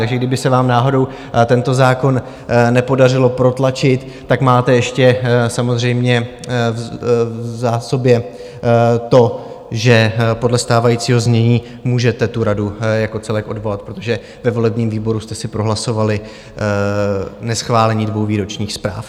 Takže kdyby se vám náhodou tento zákon nepodařilo protlačit, tak máte ještě samozřejmě v zásobě to, že podle stávajícího znění můžete tu radu jako celek odvolat, protože ve volebním výboru jste si prohlasovali neschválení dvou výročních zpráv.